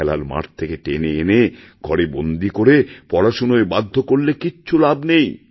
খেলার মাঠ থেকে টেনে এনে ঘরে বন্দী করে পড়াশোনায় বাধ্য করলেকিছু লাভ নেই